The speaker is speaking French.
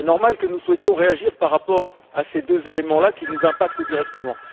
Il est normal que nous souhaitions réagir par rapport à ces deux éléments qui nous impactent directement.